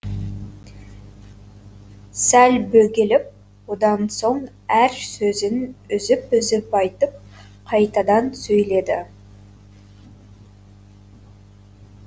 сәл бөгеліп одан соң әр сөзін үзіп үзіп айтып қайтадан сөйледі